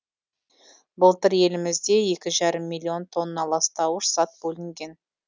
былтыр елімізде екі жарым миллион тонна ластауыш зат бөлінген